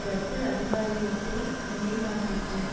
ரத்து அதிகாரியத்தை நிலைநாட்டிற்று